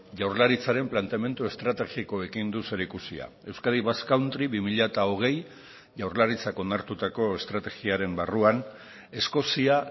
jaurlaritzaren planteamendu estrategikoekin du zerikusia euskadi basque country bi mila hogei jaurlaritzak onartutako estrategiaren barruan eskozia